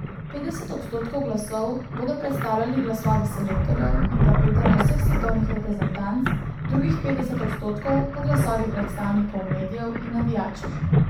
Petdeset odstotkov glasov bodo predstavljali glasovi selektorjev in kapetanov vseh svetovnih reprezentanc, drugih petdeset odstotkov pa glasovi predstavnikov medijev in navijačev.